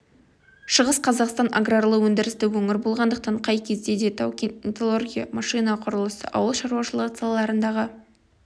шығыс қазақстан аграрлы өндірісті өңір болғандықтан қай кезде де тау-кен металлургия машина құрылысы ауыл шаруашылығы салаларындағы